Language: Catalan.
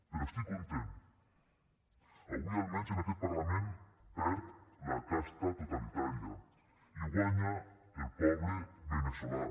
però estic content avui almenys en aquest parlament perd la casta totalitària i guanya el poble veneçolà